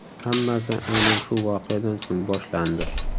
Hammasi aynan shu voqeadan so‘ng boshlandi.